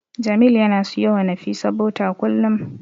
Jamil yana siyowa Nafisa bota kullum.